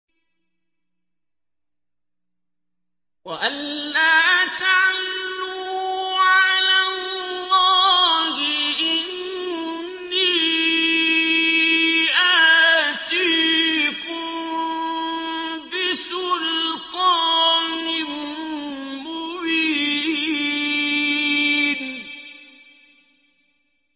وَأَن لَّا تَعْلُوا عَلَى اللَّهِ ۖ إِنِّي آتِيكُم بِسُلْطَانٍ مُّبِينٍ